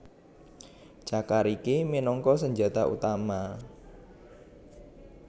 Cakar iki minangka senjata utama